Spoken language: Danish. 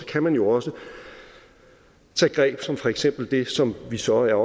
kan man jo også tage greb som for eksempel det som vi så er